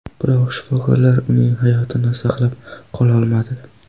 Biroq shifokorlar uning hayotini saqlab qololmadi.